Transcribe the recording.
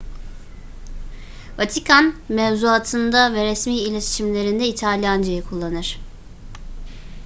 vatikan mevzuatında ve resmi iletişimlerinde i̇talyancayı kullanır